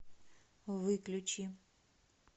выключи